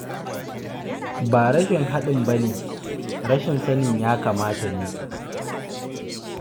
Ba rashin haɗin ba ne, rashin sanin ya kamata ne.